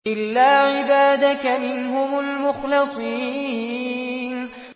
إِلَّا عِبَادَكَ مِنْهُمُ الْمُخْلَصِينَ